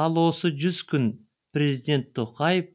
ал осы жүз күн президент тоқаев